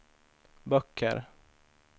böcker